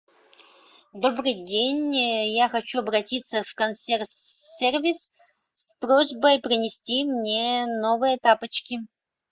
добрый день я хочу обратиться в консьерж сервис с просьбой принести мне новые тапочки